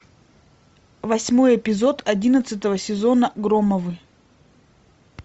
восьмой эпизод одиннадцатого сезона громовы